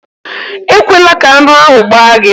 Ekwela ka aṅụ ahụ gbaa gị!